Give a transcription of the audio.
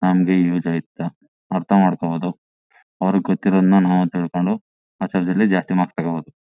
ಹಂಗೆ ಯೂಸ್ ಆಯ್ತದ ಅರ್ಥಮಾಡ್ಕೊಬಹುದು. ಅವ್ರಿಗೆ ಗೊತ್ತಿರೋದ್ನ ನಾವು ತಿಳ್ಕೊಂಡು ಜಾಸ್ತಿ ಮಾರ್ಕ್ಸ್ ತಗೋಬಹುದು.